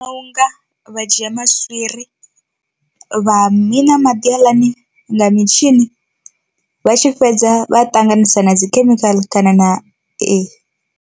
Unga vha dzhia maswiri vha miṋa maḓi haaḽani nga mitshini vha tshi fhedza vha ṱanganisa na dzikhemikhala kana na e.